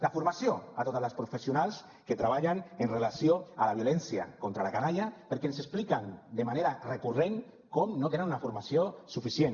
la formació a totes les professionals que treballen amb relació a la violència contra la canalla perquè ens expliquen de manera recurrent com no tenen una formació suficient